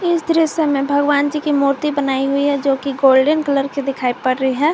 इस दृश्य में भगवान जी की मूर्ति बनाई हुई है जोकि गोल्डन कलर की दिखाई पड़ रही है।